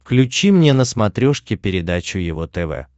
включи мне на смотрешке передачу его тв